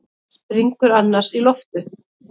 Springur annars í loft upp.